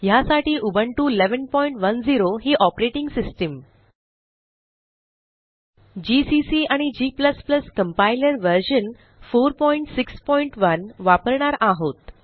ह्यासाठी उबुंटू 1110 ही operating system GCC आणि g कंपाइलर व्हर्शन 461 वापरणार आहोत